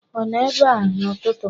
Ọ nọ ebe a n'ụtụtụ?